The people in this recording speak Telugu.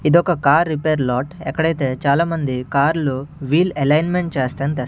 ఇదొక కార్ రిపేర్ లాట్ ఎక్కడైతే చాలా మంది కార్లు వీల్ అలైన్మెంట్ చేస్తానికి తెస్--